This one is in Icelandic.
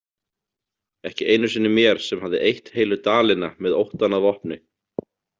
Ekki einu sinni mér sem hafði eytt heilu dalina með óttann að vopni.